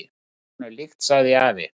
"""Það var honum líkt, sagði afi."""